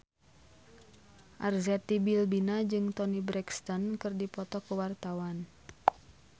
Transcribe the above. Arzetti Bilbina jeung Toni Brexton keur dipoto ku wartawan